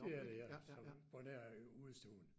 Det er det ja som på nær udestuen